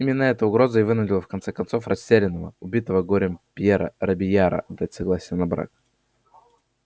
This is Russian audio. именно эта угроза и вынудила в конце концов растерянного убитого горем пьера робийяра дать согласие на брак